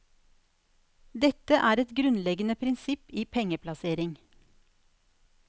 Dette er et grunnleggende prinsipp i pengeplassering.